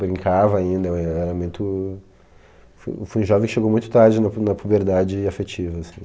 Brincava ainda, eu era muito... Fui eu fui um jovem que chegou muito tarde na pu na puberdade afetiva, assim.